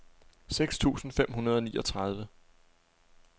seks tusind fem hundrede og niogtredive